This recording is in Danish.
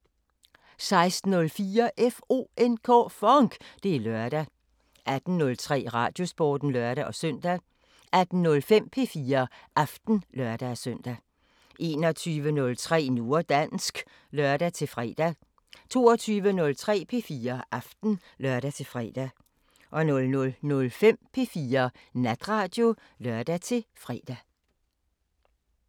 16:04: FONK! Det er lørdag 18:03: Radiosporten (lør-søn) 18:05: P4 Aften (lør-søn) 21:03: Nu og dansk (lør-fre) 22:03: P4 Aften (lør-fre) 00:05: P4 Natradio (lør-fre)